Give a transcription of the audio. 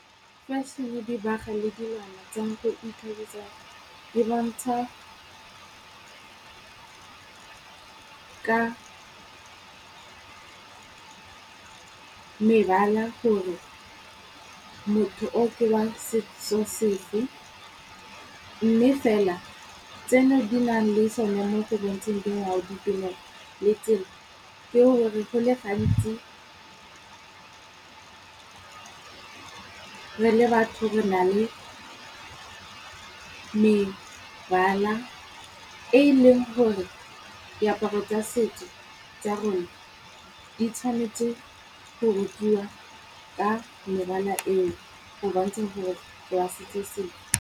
Fešhene, dibaga le dilwana tsa go ikgabisa di bontsha ka mebala gore, motho o ke wa setso sefe. Mme fela tseno di na le so ne mo go bontsheng dingwao, ditumelo, le tsela. Tseo go le gantsi re le batho re na le mebala, e e leng gore diaparo tsa setso tsa rona di tshwanetse go rutiwa ka mebala eo go bontsha gore o wa setso sefe.